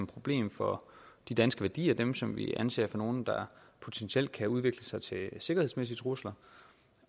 problem for de danske værdier dem som vi anser for nogle der potentielt kan udvikle sig til sikkerhedsmæssige trusler